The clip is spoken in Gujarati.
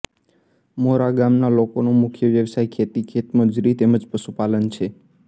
મોરા ગામના લોકોનો મુખ્ય વ્યવસાય ખેતી ખેતમજૂરી તેમ જ પશુપાલન છે